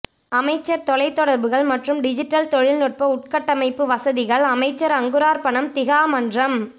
அமைச்சர் தொலைத்தொடர்புகள் மற்றும் டிஜிட்டல் தொழிநுட்ப உட்கட்டமைப்பு வசதிகள் அமைச்சர் அங்குரார்ப்பணம் திகா மன்றம்